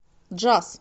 джаз